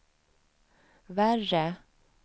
värre